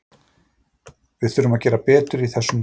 Við þurfum að gera betur í þessum leikjum.